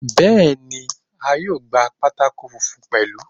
Bẹ́ẹ̀ni, a yóò gba pátákó funfun pẹ̀lú.